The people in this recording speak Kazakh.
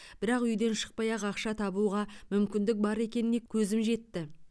бірақ үйден шықпай ақ ақша табуға мүмкіндік бар екеніне көзім жетті